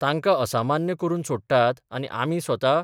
तांकां असामान्य करून सोडटात आनी आमी स्वता